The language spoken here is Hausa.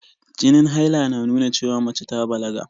Jinin haila na nunawa cewa mace ta balaga.